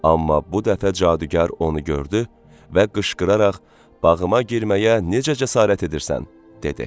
Amma bu dəfə cadugar onu gördü və qışqıraraq: "Bağıma girməyə necə cəsarət edirsən?" dedi.